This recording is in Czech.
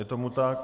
Je tomu tak?